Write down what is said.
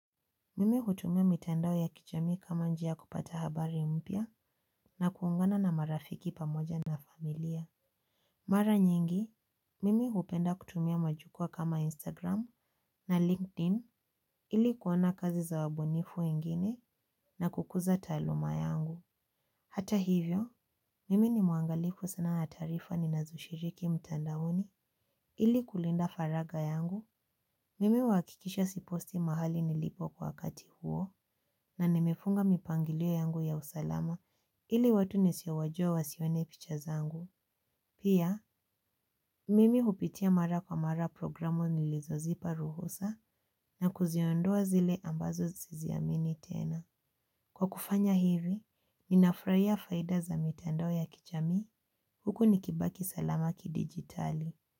Mimi hutumia mitandao ya kijamii kama njia ya kupata habari mpya na kuungana na marafiki pamoja na familia. Mara nyingi, mimi hupenda kutumia majukwaa kama Instagram na LinkedIn ili kuona kazi za wabunifu wengine na kukuza taaluma yangu. Hata hivyo, mimi ni mwangalifu sana ya taarifa ninazoshiriki mtandaoni ili kulinda faraga yangu. Mimi huhakikisha siposti mahali nilipo kwa wakati huo na nimefunga mipangilio yangu ya usalama ili watu nisiowajua wasione picha zangu. Pia, mimi hupitia mara kwa mara programu nilizozipa ruhusa na kuziondoa zile ambazo siziamini tena. Kwa kufanya hivi, ninafraia faida za mitandao ya kijamii huku nikibaki salama kidijitali.